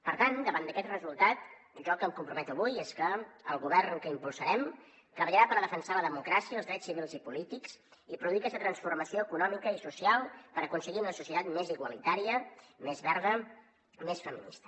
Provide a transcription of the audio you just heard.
per tant davant d’aquest resultat jo el que em comprometo avui és que el govern que impulsarem treballarà per defensar la democràcia els drets civils i polítics i produir aquesta transformació econòmica i social per aconseguir una societat més igualitària més verda més feminista